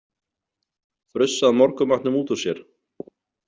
Frussað morgunmatnum út úr sér?